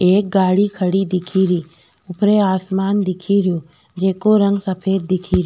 एक गाड़ी खड़ी दिखेरी ऊपरे आसमान दिखेरो जेको रंग सफ़ेद दिखे --